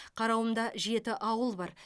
қарауымда жеті ауыл бар